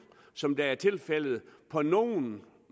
som det er tilfældet på nogle